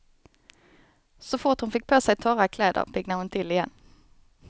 Så fort hon fick på sig torra kläder, piggnade hon till igen.